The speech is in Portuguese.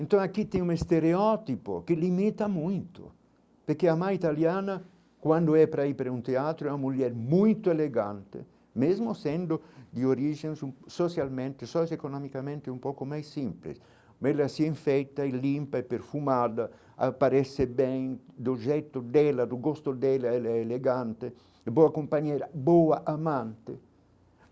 Então aqui tem um estereótipo que limita muito, porque a mãe italiana, quando é para ir para um teatro é uma mulher muito elegante, mesmo sendo de origem socialmente, socioeconomicamente um pouco mais simples, mas ela se enfeita, é limpa é perfumada, aparece bem do jeito dela, do gosto dela ela é elegante, boa companhia, boa amante.